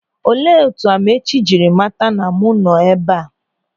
Olee etu Amaechi jiri mata na mụ nọ ebe a?